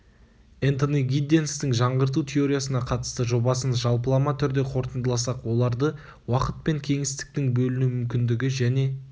энтони гидденстің жаңғырту теориясына қатысты жобасын жалпылама түрде қорытындыласақ оларды уақыт пен кеңістіктің бөліну мүмкіндігі және